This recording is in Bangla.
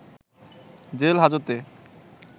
জেল হাজতে